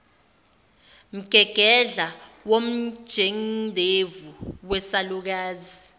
mgegedla womjendevu wesalukazi